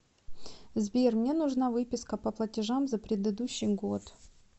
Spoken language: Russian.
сбер мне нужна выписка по платежам за предыдущий год